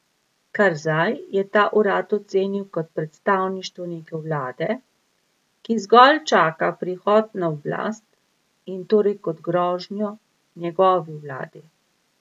Karzaj je ta urad ocenil kot predstavništvo neke vlade, ki zgolj čaka prihod na oblast in torej kot grožnjo njegovi vladi.